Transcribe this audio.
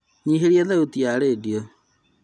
Nyihĩria thauti ya redio